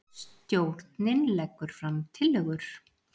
Stjórnin leggur fram tillögur